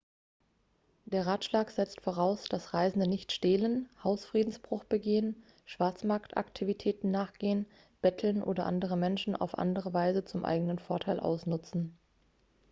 der ratschlag setzt voraus dass reisende nicht stehlen hausfriedensbruch begehen schwarzmarktaktivitäten nachgehen betteln oder andere menschen auf andere weise zum eigenen vorteil ausnutzen